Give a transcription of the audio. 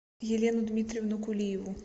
елену дмитриевну кулиеву